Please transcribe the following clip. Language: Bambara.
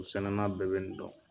sɛnɛnan bɛɛ bɛ nin dɔn.